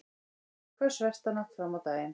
Hvöss vestanátt fram á daginn